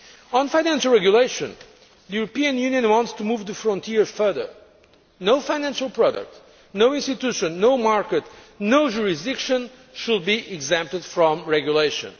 On financial regulation, the European Union wants to move the frontier further no financial product, no institution, no market, no jurisdiction should be exempt from regulation.